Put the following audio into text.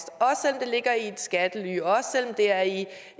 det ligger i et skattely også selv om det er inden